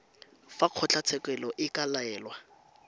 fa kgotlatshekelo e ka laela